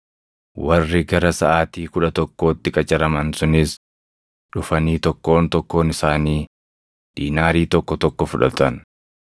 “Warri gara saʼaatii kudha tokkootti qacaraman sunis dhufanii tokkoon tokkoon isaanii diinaarii tokko tokko fudhatan.